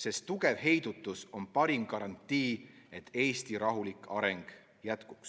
sest tugev heidutus on parim garantii, et Eesti rahulik areng jätkub.